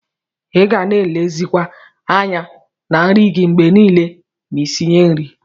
Iga na elezikwa anya na nri gi mgbe nile ma isinye nri.